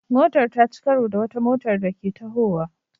Motar ta ci karo da wata motar da Ke tahowa